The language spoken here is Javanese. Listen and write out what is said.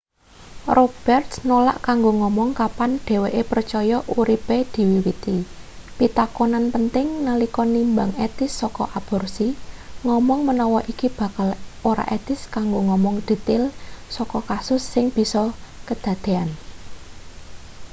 roberts nolak kanggo ngomong kapan dheweke percaya uripe diwiwiti pitakonan penting nalika nimbang etis saka aborsi ngomong menawa iki bakalan ora etis kanggo ngomong detail saka kasus sing bisa kedadean